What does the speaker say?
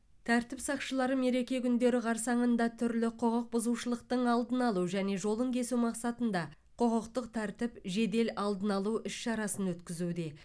тәртіп сақшылары мереке күндері қарсаңында түрлі құқық бұзушылықтың алдын алу және жолын кесу мақсатында құқықтық тәртіп жедел алдын алу іс шарасын өткізуде